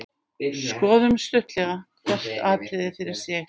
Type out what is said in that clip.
Skoðum stuttlega hvert atriði fyrir sig.